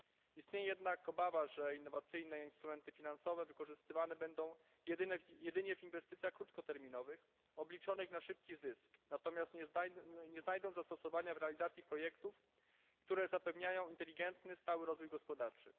Istnieje jednak obawa, że innowacyjne instrumenty finansowe wykorzystywane będą jedynie w inwestycjach krótkoterminowych, obliczonych na szybki zysk, natomiast nie znajdą zastosowania w realizacji projektów, które zapewniają inteligentny, stały rozwój gospodarczy.